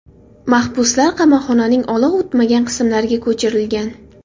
Mahbuslar qamoqxonaning olov o‘tmagan qismlariga ko‘chirilgan.